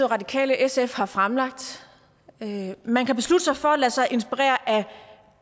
radikale og sf har fremlagt man kan beslutte sig for at lade sig inspirere af